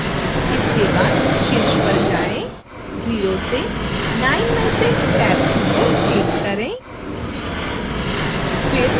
इसके बाद शीर्ष पर जाएं और 0 से 9 में से टैब 2 पर click करें